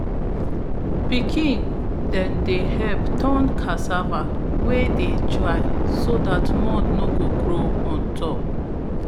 pikin dem dey help turn cassava wey dey dry so that mould no go grow on top